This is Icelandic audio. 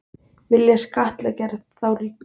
Vilja skattleggja þá ríku